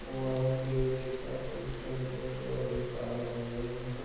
वो एक पेड़ के पास एक टैंकर ट्राली कर रहे हैं।